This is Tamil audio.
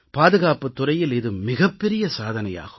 பாதுகாப்புத் துறையில் இது மிகப் பெரிய சாதனையாகும்